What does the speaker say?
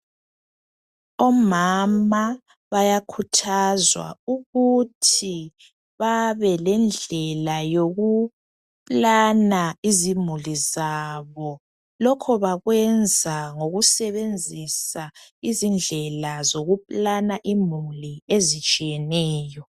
Omama bayakhuthazwa ukuthi babe lendlela yokuplanner izimuli zabo .Lokho bakwenza ngokusebenzisa izindlela zokuplanner imuli ezitshiyeneyo .